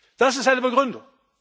Das ist seine Begründung.